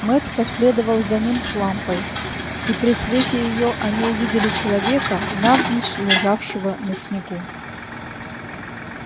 мэтт последовал за ним с лампой и при свете её они увидели человека навзничь лежавшего на снегу